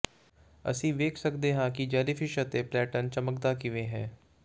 ਅਸੀਂ ਵੇਖ ਸਕਦੇ ਹਾਂ ਕਿ ਜੈਲੀਫਿਸ਼ ਅਤੇ ਪਲੈਂਟਨ ਚਮਕਦਾ ਕਿਵੇਂ ਹੈ